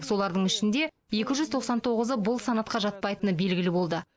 солардың ішінде екі жүз тоқсан тоғызы бұл санатқа жатпайтыны белгілі болды